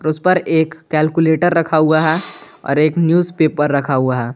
और उस पर एक कैलकुलेटर रखा हुआ है और एक न्यूज़ पेपर रखा हुआ है।